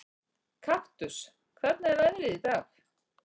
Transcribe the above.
Kaktus, hvernig er veðrið í dag?